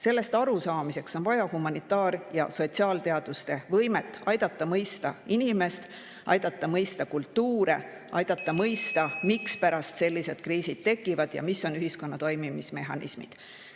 Sellest arusaamiseks on vaja humanitaar- ja sotsiaalteaduste võimet aidata mõista inimest, aidata mõista kultuure, aidata mõista, miks sellised kriisid tekivad ja millised on ühiskonna toimimismehhanismid.